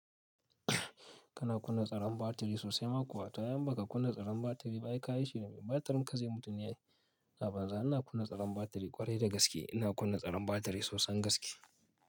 Kana kunna tsaron batiri sosai ma kuwa ta yamma ka kunna tsaron batiri ba yi ka yi shiri mai batirin ka zai mutu ne. A banza ina kunna tsaron batiri ƙwarai da gaske ina kunna tsaron batiri sosan gaske.